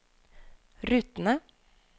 rutene